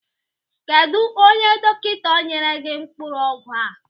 Kedu onye dọkịta nyere gị mkpụrụ ọgwụ a?